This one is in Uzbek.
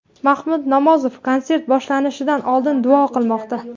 Mahmud Nomozov konsert boshlanishidan oldin duo qilmoqda.